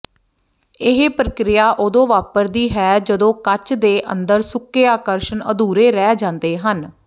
ਇਹ ਪ੍ਰਕ੍ਰੀਆ ਉਦੋਂ ਵਾਪਰਦੀ ਹੈ ਜਦੋਂ ਕੱਚ ਦੇ ਅੰਦਰ ਸੁੱਕੇ ਆਕ੍ਰਸ਼ਣ ਅਧੂਰੇ ਰਹਿ ਜਾਂਦੇ ਹਨ